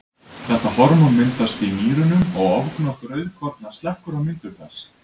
Þetta hormón myndast í nýrunum og ofgnótt rauðkorna slekkur á myndun þess.